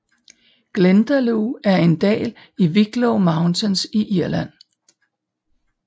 Glendalough er en dal i Wicklow Mountains i Irland